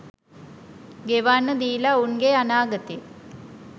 ගෙවන්න දීල උන්ගේ අනාගතේ